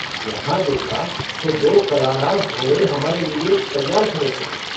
यहाँ देखा तो दो कलाँ रास घोड़े हमारे लिए तैयार खड़े थे।